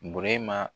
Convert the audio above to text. Bu ma